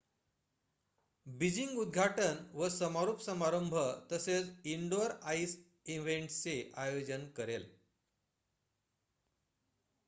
Beijing उद्घाटन व समारोप समारंभ तसेच इनडोर आईस इव्हेंट्सचे आयोजन करेल